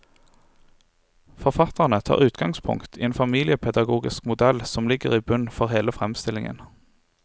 Forfatterne tar utgangspunkt i en familiepedagogisk modell som ligger i bunnen for hele fremstillingen.